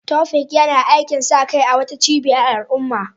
Taofiq yana aikin sa kai a wata cibiyar al'umma